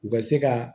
U ka se ka